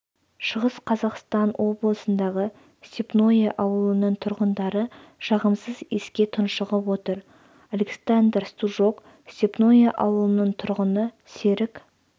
шығыс қазақстан облысындағы степное ауылының тұрғындары жағымсыз иіске тұншығып отыр александр стужук степное ауылының тұрғыны серік